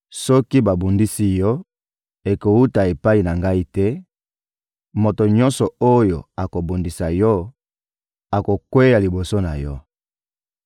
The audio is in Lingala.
Soki babundisi yo, ekowuta epai na Ngai te; moto nyonso oyo akobundisa yo akokweya liboso na yo.